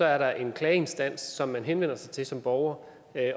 er der en klageinstans som man henvender sig til som borger